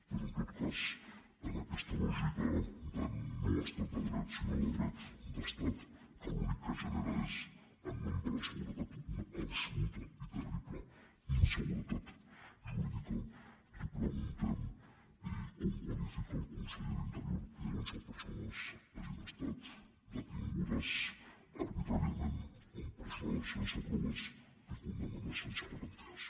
però en tot cas en aquesta lògica de noestat de dret sinó de dret d’estat que l’únic que genera és en nom de la seguretat una absoluta i terrible inseguretat jurídica li preguntem com qualifica el conseller d’interior que onze persones hagin estat detingudes arbitràriament empresonades sense proves i condemnades sense garanties